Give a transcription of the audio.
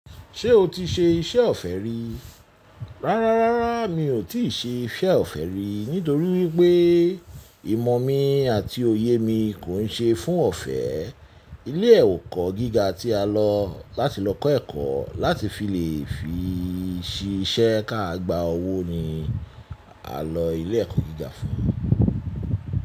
Ṣé o ti ṣe iṣẹ́ ọ̀fẹ́ rí? Rárá, rárá mi ò tíì ṣe iṣẹ́ ọ̀fẹ́ rí, nítorí wípé ìmọ̀ mi àti òye mi kò ń ṣe fún ọ̀fẹ́. Ilé ẹ̀kọ́ gíga tí a lọ láti lọ kọ́ ẹ̀kọ́ láti fi lè fi ṣiṣẹ́ ká gba owó ni a lọ ilé ẹ̀kọ́ gíga fún.